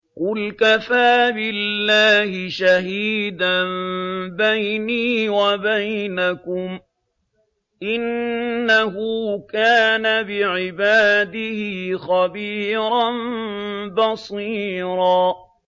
قُلْ كَفَىٰ بِاللَّهِ شَهِيدًا بَيْنِي وَبَيْنَكُمْ ۚ إِنَّهُ كَانَ بِعِبَادِهِ خَبِيرًا بَصِيرًا